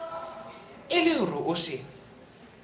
e le hore o se